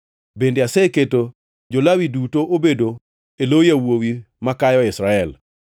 Bende aseketo jo-Lawi duto obedo e lo yawuowi makayo e Israel.